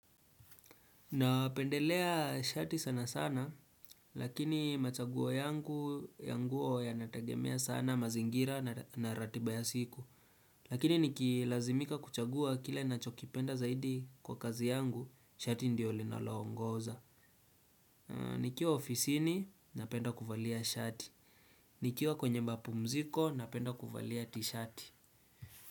Napendelea shati sana sana lakini machaguo yangu ya nguo yanategemea sana mazingira na ratiba ya siku. Lakini nikilazimika kuchagua kile nachokipenda zaidi kwa kazi yangu shati ndio linaloongoza. Nikiwa ofisini napenda kuvalia shati. Nikiwa kwenye mapumziko napenda kuvalia tishati.